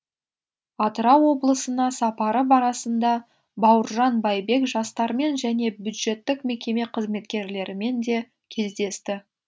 атырау облысына сапары барысында бауыржан байбек жастармен және бюджеттік мекеме қызметкерлерімен де кездесті